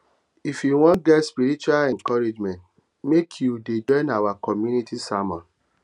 if you wan get spiritual encouragement make you um dey join our community sermons